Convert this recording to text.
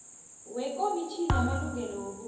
wekomitjhini yamalungelo wobuntu